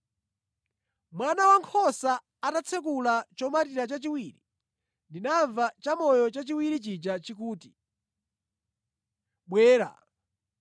Mwana Wankhosa atatsekula chomatira chachiwiri, ndinamva chamoyo chachiwiri chija chikuti, “Bwera!”